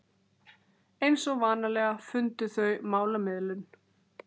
Eins og vanalega fundu þau málamiðlun.